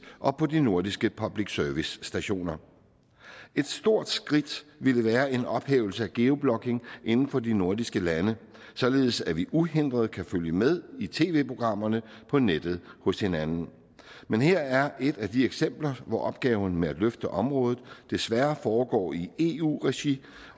og på de nordiske public service stationer et stort skridt ville være en ophævelse af geo blocking inden for de nordiske lande således at vi uændret kan følge med i tv programmerne på nettet hos hinanden men her er et af de eksempler hvor opgaven med at løfte området desværre foregår i eu regi